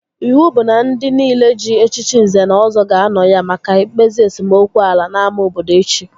Iwu bụ na ndị nile ji echichi Nze na Ọzọ ga-anọ ya maka mkpezi esemokwu ala n'ámá obodo echi!